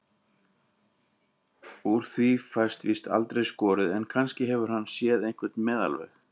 Úr því fæst víst aldrei skorið, en kannski hefur hann séð einhvern meðalveg.